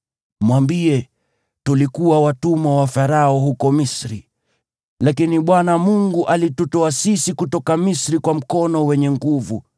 Mwambie: “Tulikuwa watumwa wa Farao huko Misri, lakini Bwana alitutoa sisi kutoka Misri kwa mkono wenye nguvu.